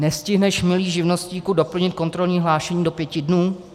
Nestihneš, milý živnostníku, doplnit kontrolní hlášení do pěti dnů?